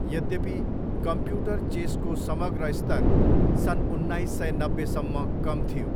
यद्यपि, कम्प्युटर चेसको समग्र स्तर सन् उन्नाइस सय नब्बेसम्म कम थियो।